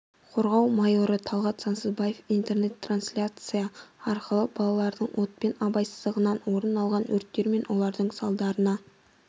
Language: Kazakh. қорғау майоры талғат сансызбаев интернет-трансляция арқылы балалардың отпен абайсыздығынан орын алған өрттер мен олардың салдарына